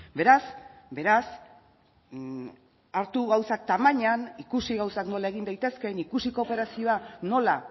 beraz beraz hartu gauzak tamainan ikusi gauzak nola egin daitezkeen ikusi kooperazioa nola